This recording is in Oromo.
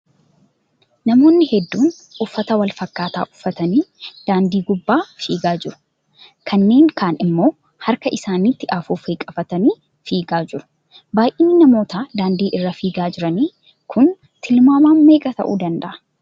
Namoonni hedduun uffata wal fakkaataa uffatanii daandii gubbaa fiigaa jiru. kanneen kaan immoo harka isaaniitti afuuffee qabatanii fiigaa jiru. baayyinni namoota daandii irra fiigaa jiranii kun tilmaamaan meeqa ta'uu danda'u?